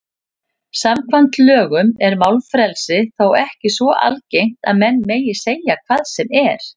Samkvæmt lögum er málfrelsi þó ekki svo algert að menn megi segja hvað sem er.